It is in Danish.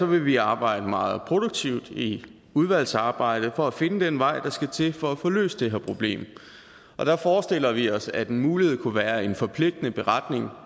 vil vi arbejde meget produktivt i udvalgsarbejdet for at finde den vej der skal til for at få løst det her problem og der forestiller vi os at en mulighed kunne være en forpligtende beretning